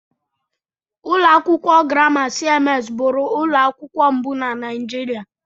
Ụlọ akwụkwọ Grama CMS bụụrụ ụlọ akwụkwọ mbụ na Naijiria.